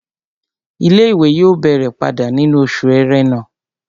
Ilé-ìwé yóò bẹ̀rẹ̀ padà nínú oṣù ẹrẹ́nà